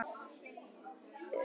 Hvíldu í friði, elsku Maggi.